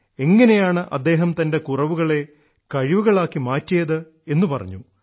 എങ്ങിനെയാണ് അദ്ദേഹം തൻറെ കുറവുകളെ കഴിവുകളാക്കി മാറ്റിയതെന്നു പറഞ്ഞു